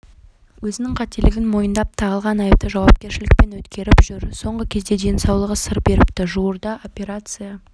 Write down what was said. өзінің қателігін мойындап тағылған айыпты жауапкершілікпен өткеріп жүр соңғы кезде денсаулығы сыр беріпті жуырда операция